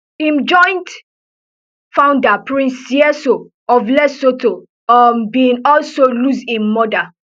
im joint founder prince seeiso of lesotho um bin also lose im mother